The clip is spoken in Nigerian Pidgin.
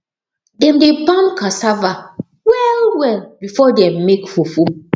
dem dey pound cassava well well before dem make fufu